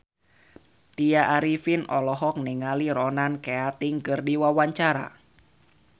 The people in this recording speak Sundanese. Tya Arifin olohok ningali Ronan Keating keur diwawancara